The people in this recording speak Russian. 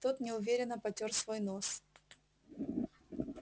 тот неуверенно потёр свой нос